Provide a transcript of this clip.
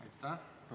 Aitäh!